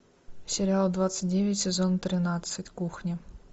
сериал двадцать девять сезон тринадцать кухня